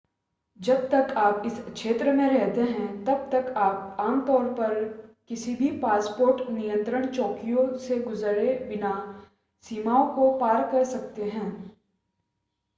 जब तक आप इस क्षेत्र में रहते हैं तब तक आप आमतौर कभी भी पासपोर्ट नियंत्रण चौकियों से गुजरे बिना सीमाओं को पार कर सकते हैं